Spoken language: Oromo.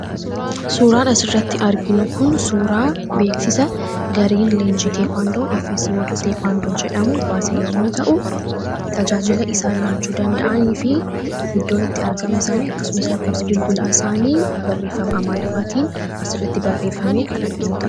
Suuraan asi irratti arginu kun suuraa beeksisa gariin leenji teekwaandoo efesolteekwaandoo jedhamu baasee yommuu ta'u tajaajila isaan laachuu danda'anii fi iddoon itti argama isaanii akkasumas lakkoofsi bilbilaa isaanii barreeffama amaariffaatiin as rratti barreeffame kan arginuudha.